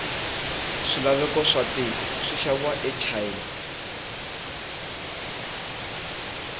swilaveko watiko swishaviwa achina